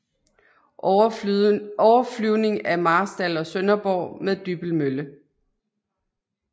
Overflyvning af Marstal og Sønderborg med Dybbølmølle